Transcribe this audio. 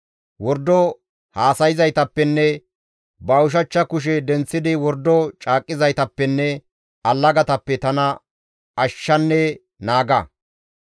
Wordo haasayzaytappenne ba ushachcha kushe denththidi wordo caaqqizaytappenne allagatappe tana ashshanne naaga.